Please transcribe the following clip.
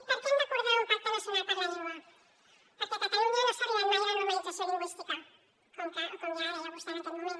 i per què hem d’acordar un pacte nacional per la llengua perquè a catalunya no s’ha arribat mai a la normalització lingüística com ja deia vostè en aquest moment